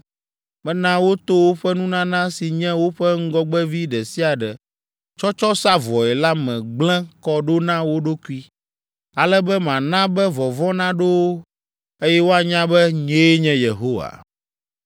Mena woto woƒe nunana si nye woƒe ŋgɔgbevi ɖe sia ɖe tsɔtsɔ sa vɔe la me gblẽ kɔ ɖo na wo ɖokui, ale be mana be vɔvɔ̃ naɖo wo, eye woanya be nyee nye Yehowa.’